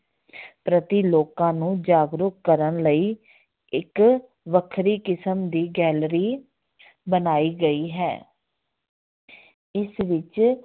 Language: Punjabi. ਪ੍ਰਤੀ ਲੋਕਾਂ ਨੂੰ ਜਾਗਰੂਕ ਕਰਨ ਲਈ ਇੱਕ ਵੱਖਰੀ ਕਿਸਮ ਦੀ gallery ਬਣਾਈ ਗਈ ਹੈ ਇਸ ਵਿੱਚ